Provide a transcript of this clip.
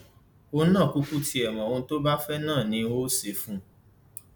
òun náà kúkú tiẹ mọ ohun tó bá fẹ náà ni n óò ṣe fún un